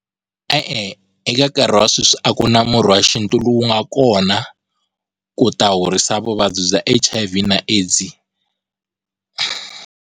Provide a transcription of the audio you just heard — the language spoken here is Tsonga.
E-e, eka nkarhi wa sweswi a ku na murhi wa xintu lowu nga kona ku ta horisa vuvabyi bya H_I_V na AIDS.